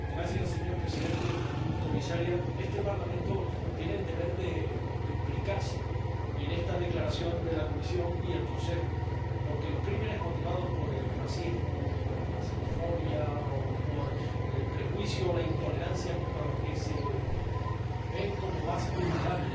Señor Presidente, señora Comisaria, este Parlamento tiene el deber de implicarse en esta declaración de la Comisión y del Consejo, porque los delitos motivados por el racismo, por la xenofobia o por el prejuicio o la intolerancia contra los que se consideran más vulnerables